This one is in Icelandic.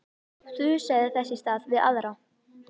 Þusaði þess í stað við aðra.